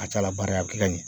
A ca a la bari a bɛ kɛ ka ɲɛ